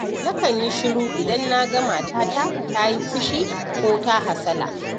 Nakan yi shiru idan na ga matata ta yi fishi ko hasala.